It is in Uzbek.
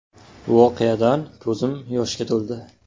“Voqeadan ko‘zim yoshga to‘ldi.